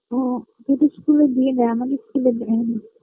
ও তোদের School -এ দিয়ে দেয় আমাদের School -এ দেয় না